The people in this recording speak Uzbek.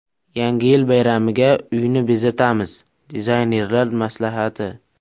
Yangi yil bayramiga uyni bezatamiz: dizaynerlar maslahati.